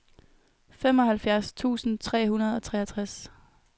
femoghalvfjerds tusind tre hundrede og treogtres